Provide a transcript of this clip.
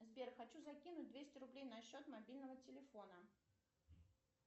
сбер хочу закинуть двести рублей на счет мобильного телефона